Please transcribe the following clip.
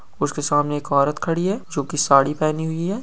उसके सामने एक औरत खड़ी है जो की साड़ी पहनी हुई है ।